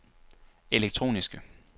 elektroniske